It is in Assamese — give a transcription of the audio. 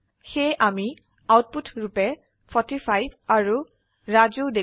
সেয়ে আমি আউটপুট ৰুপে 45 আৰু ৰাজু দেখিো